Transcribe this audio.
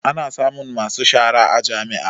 Ana samun masu shara a jami'a